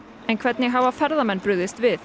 en hvernig hafa ferðamenn brugðist við